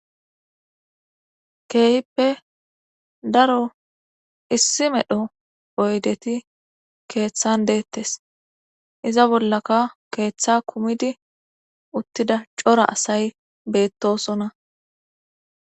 Keehippe daro issi medho poydeti keeththan deettes; iza bollaka keeththa kumidi uttida cora asay beettosona.